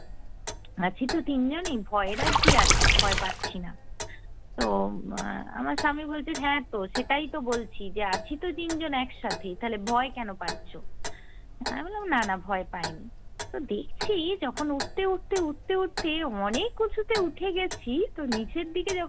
তো আমার স্বামী বলছে, হ্যাঁ তো সেটাই তো বলছি যে আছি তো তিনজন একসাথেই তাহলে ভয় কেনো পাচ্ছো? আমি বললাম, না না ভয় পাইনি। তো দেখছি যখন উঠতে উঠতে উঠতে উঠতে অনেক উঁচুতে উঠে গেছি তো নিচের দিকে যখন